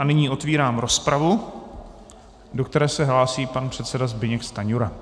A nyní otvírám rozpravu, do které se hlásí pan předseda Zbyněk Stanjura.